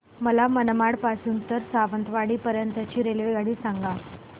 मला मनमाड पासून तर सावंतवाडी पर्यंत ची रेल्वेगाडी सांगा